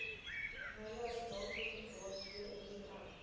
nywerheid navorsingsraad wnnr